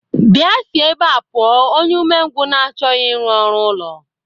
Bịa, si ebea pụọ, onye umengwụ na-achọghị ịrụ ọrụ ụlọ!